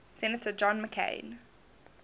senator john mccain